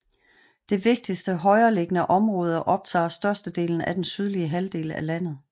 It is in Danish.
Det vigtigste højereliggende område optager størstedelen af den sydlige halvdel af landet